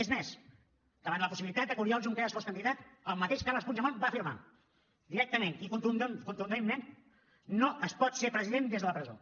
és més davant la possibilitat que oriol junqueras fos candidat el mateix carles puigdemont va afirmar directament i contundentment no es pot ser president des de la presó